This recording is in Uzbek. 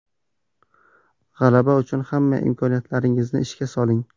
G‘alaba uchun hamma imkoniyatlaringizni ishga soling.